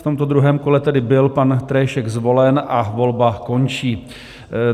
V tomto druhém kole tedy byl pan Tréšek zvolen a volba končí.